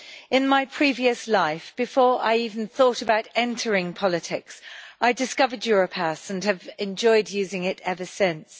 In my previous life, before I even thought about entering politics, I discovered Europass and have enjoyed using it ever since.